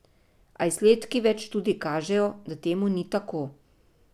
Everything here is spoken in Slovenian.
A izsledki več študij kažejo, da temu ni tako.